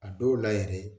A dɔw la yɛrɛ